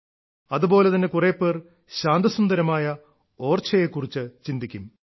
അതുപോലെ തന്നെ കുറെപ്പേർ ശാന്തസുന്ദരമായ ഓർഛയെ കുറിച്ച് ചിന്തിക്കും